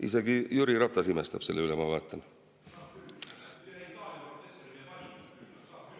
Isegi Jüri Ratas imestab selle üle, ma vaatan.